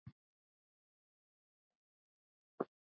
Var það þeirra gæfa.